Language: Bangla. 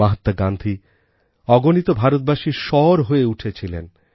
মহাত্মা গান্ধী অগণিত ভারতবাসীর স্বর হয়ে উঠেছিলেন